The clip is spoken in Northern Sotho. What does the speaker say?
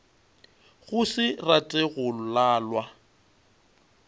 go se rate go lalwa